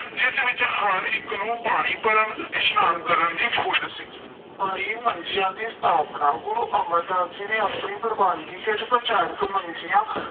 ਜਿਸ ਵਿੱਚ ਹਰ ਇੱਕ ਨੂੰ ਪਾਣੀ ਭਰਨ, ਇਸ਼ਨਾਨ ਕਰਨ ਦੀ ਖੁੱਲ੍ਹ ਸੀ। ਬਾਈ ਮੰਜ਼ੀਆਂ ਦੀ ਸਥਾਪਨਾ - ਗੁਰੂ ਅਮਰਦਾਸ ਜੀ ਨੇ ਆਪਣੀ ਪ੍ਰਵਾਨਗੀ ਹੇਠ ਪ੍ਰਚਾਰਕ ਮੰਜ਼ੀਆਂ